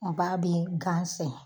A b'a bɛ gan sɛnɛ